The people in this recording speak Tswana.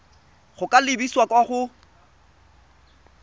go ka lebisa kwa go